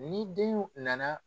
Ni denw na na